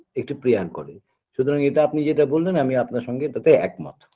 একটু prayer করে সুতরাং এটা আপনি যেটা বললেন আমি আপনার সঙ্গে তাতে একমত